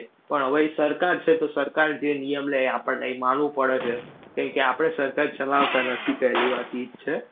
પણ હવે ઈ સરકાર છે. તો સરકાર જે નિયમ લે એ આપણને ઈ માનવો પડે છે. કારણકે આપણે સરકાર ચલાવતા નથી પહેલી વાત ઈ જ છે.